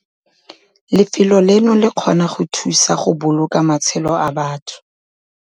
Lefelo leno le kgona go thusa go boloka matshelo a batho!